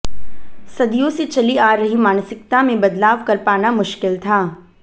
सदियों से चली आ रही मानसिकता में बदलाव कर पाना मुश्किल था